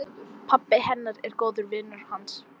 Pabbi hennar er góður vinur hans.